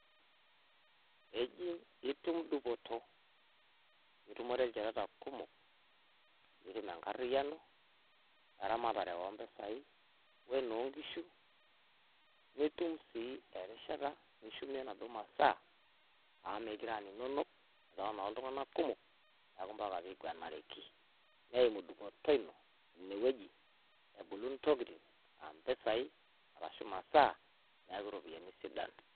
Ijing nitum dupoto nitumore Ilchoreta kumok nitum enkariyiano we eramatare, enoonkishu nitum sii erishata nishumie naduoo masaa amu mookure enaa ninonok etaa noltunganak kumok neimu dupoto ino isidan.ne wueji ebulu entokiting aa masaa neaku ropiyiani sidan.